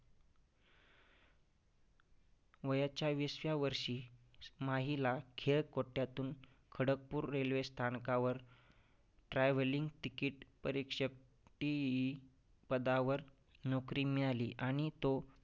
वयाच्या वीसव्या वर्षी माहीला खेळकोट्ट्यातून खडकपूर railway स्थानकावर travelling ticket परीक्षक TE पदावर नौकरी मिळाली आणि तो